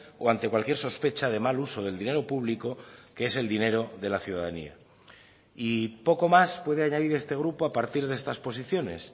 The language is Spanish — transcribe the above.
o ante cualquier sospecha de mal uso del dinero público que es el dinero de la ciudadanía y poco más puede añadir este grupo a partir de estas posiciones